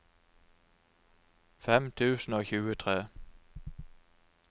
fem tusen og tjuetre